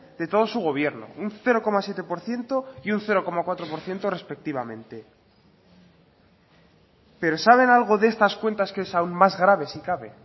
de todo su gobierno un cero coma siete por ciento y un cero coma cuatro por ciento respectivamente pero saben algo de estas cuentas que es aún más grave si cabe